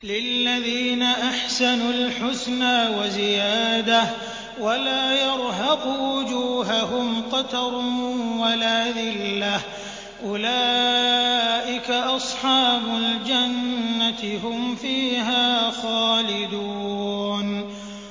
۞ لِّلَّذِينَ أَحْسَنُوا الْحُسْنَىٰ وَزِيَادَةٌ ۖ وَلَا يَرْهَقُ وُجُوهَهُمْ قَتَرٌ وَلَا ذِلَّةٌ ۚ أُولَٰئِكَ أَصْحَابُ الْجَنَّةِ ۖ هُمْ فِيهَا خَالِدُونَ